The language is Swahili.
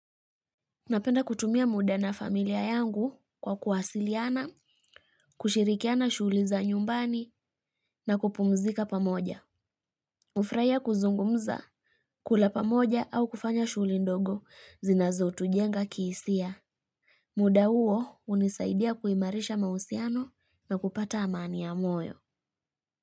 Napenda kutumia muda na familia yangu kwa kuwasiliana, kushirikiana shughuli za nyumbani na kupumzika pamoja. Hufurahia kuzungumza, kula pamoja au kufanya shughuli ndogo zinazotujenga kihisia. Muda huo hunisaidia kuimarisha mahusiano na kupata amani ya moyo.